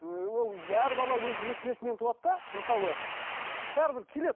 ыыы ол әр бала өзі несібесімен туады да мысалы бәрібір келеді